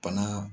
Bana